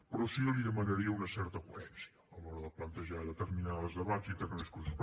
però sí que li demanaria una certa coherència a l’hora de plantejar determinats debats i determinats discursos